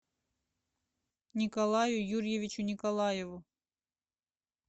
николаю юрьевичу николаеву